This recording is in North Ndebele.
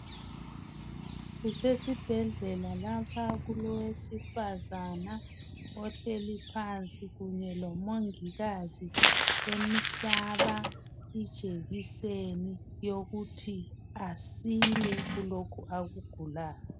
Kusesibhedlela lapha kulowesifazana ohleli phansi kunye lomongikazi emhlaba ijekiseni yokuthi asile kulokhu akugulayo.